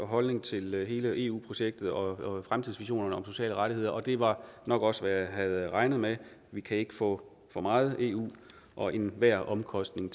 holdning til hele eu projektet og fremtidsvisionerne om sociale rettigheder og det var nok også hvad jeg havde regnet med vi kan ikke få for meget eu og enhver omkostning